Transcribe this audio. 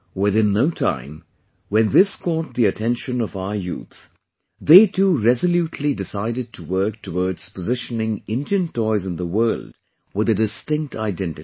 Within no time, when this caught the attention of our youth, they too resolutely decided to work towards positioning Indian toys in the world with a distinct identity